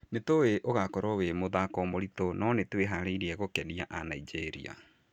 Nĩtũĩ ũgakorũo ũrĩ mũthako mũritũ no nĩtwĩharĩirie gũkenia a Nigeria